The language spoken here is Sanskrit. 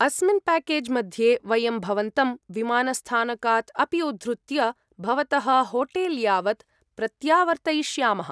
अस्मिन् प्याकेज् मध्ये वयं भवन्तं विमानस्थानकात् अपि उद्धृत्य भवतः होटे्ल् यावत् प्रत्यावर्तयिष्यामः।